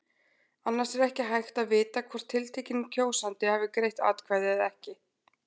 Annars er ekki hægt að vita hvort tiltekinn kjósandi hafi greitt atkvæði eða ekki.